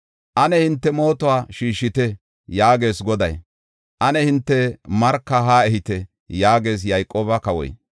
“Ane hinte mootuwa shiishite” yaagees Goday; “Ane hinte marka haa ehite” yaagees Yayqooba kawoy.